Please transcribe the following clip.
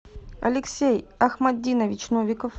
алексей ахматдинович новиков